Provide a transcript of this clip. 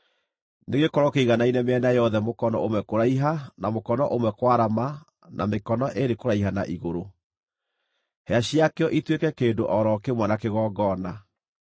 Nĩgĩkorwo kĩiganaine mĩena yothe mũkono ũmwe kũraiha na mũkono ũmwe kwarama na mĩkono ĩĩrĩ kũraiha na igũrũ, hĩa ciakĩo ituĩke kĩndũ o ro kĩmwe na kĩgongona.